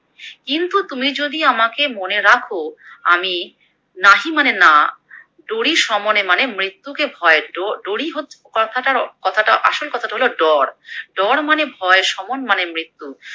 কিন্তু তুমি যদি আমাকে মনে রাখো আমি নাহি মানে না ডরি শমনে মানে মৃত্যুকে ভয়, ডো ডরি হো কথাটা কথাটা আসল কথাটা হলো ডর, ডর মানে হলো ভয় শমন মানে মৃত্যু